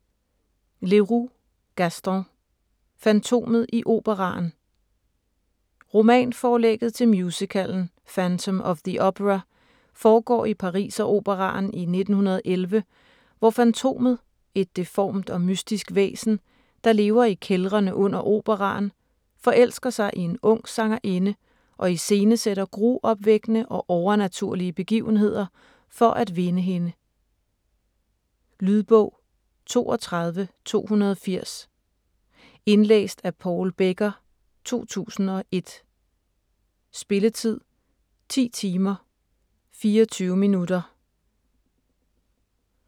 Leroux, Gaston: Fantomet i operaen Romanforlægget til musicalen "Phantom of the opera" foregår i Pariseroperaen i 1911, hvor Fantomet, et deformt og mystisk væsen, der lever i kældrene under operaen, forelsker sig i en ung sangerinde og iscenesætter gruopvækkende og overnaturlige begivenheder for at vinde hende. Lydbog 32280 Indlæst af Paul Becker, 2001. Spilletid: 10 timer, 24 minutter.